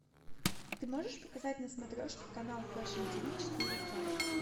ты можешь показать на смотрешке канал фэшн тв четыре к